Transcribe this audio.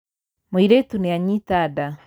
Mũirĩtu nĩanyita nda.